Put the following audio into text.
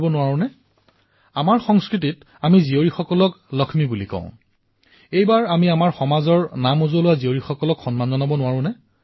আৰু এটা কাম কৰিব পাৰি এনে কন্যাসমূহৰ উপলব্ধিৰ বিষয়ে ছচিয়েল মিডিয়াত অধিকভাৱে বিনিময় কৰা উচিত আৰু হেশ্বটেগ ব্যৱহাৰ কৰি bharatkilaxmiভাৰত কি লক্ষ্মী ব্যৱহাৰ কৰিব পাৰে